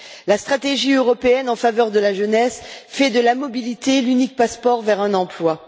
La stratégie européenne en faveur de la jeunesse fait de la mobilité l'unique passeport vers un emploi.